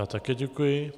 Já také děkuji.